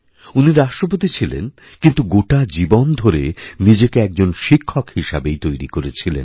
উনি রাষ্ট্রপতি ছিলেন কিন্তু গোটা জীবনধরে নিজেকে একজন শিক্ষক হিসাবেই তৈরি করেছিলেন